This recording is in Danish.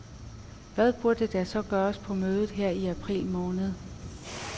Hvad burde der så gøres på mødet her i april måned?